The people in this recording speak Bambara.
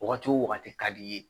Wagati wo wagati ka di i ye